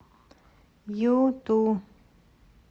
юту